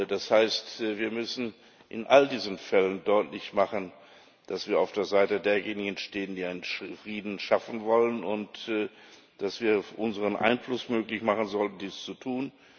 Das heißt, wir müssen in all diesen Fällen deutlich machen, dass wir auf der Seite derjenigen stehen, die einen Frieden schaffen wollen, und dass wir unseren Einfluss möglich machen sollten, dies zu tun.